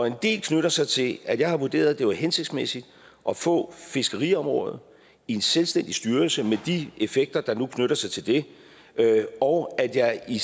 en del knytter sig til at jeg har vurderet at det var hensigtsmæssigt at få fiskeriområdet i en selvstændig styrelse med de effekter der nu knytter sig til det og at jeg i